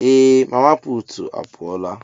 Ee! Mama puutu a pụọla.